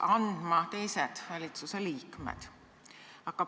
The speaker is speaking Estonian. Järgmisena on küsimuse registreerinud Urve Tiidus, vastab rahvastikuminister Riina Solman.